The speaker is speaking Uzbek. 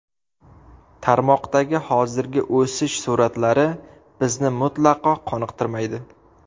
Tarmoqdagi hozirgi o‘sish sur’atlari bizni mutlaqo qoniqtirmaydi.